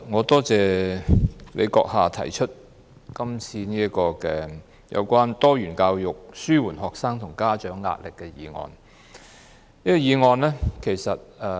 代理主席，感謝你動議有關"落實多元教育紓緩學生及家長壓力"的議案。